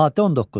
Maddə 19.